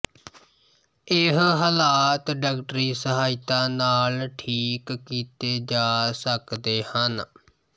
ਇਹ ਹਲਾਤ ਡਾਕਟਰੀ ਸਹਾਇਤਾ ਨਾਲ ਠੀਕ ਕੀਤੇ ਜਾ ਸਕਦੇ ਹਨ